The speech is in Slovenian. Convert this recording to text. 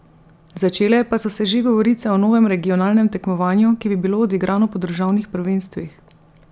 Začele pa so se že govorice o novem regionalnem tekmovanju, ki bi bilo odigrano po državnih prvenstvih.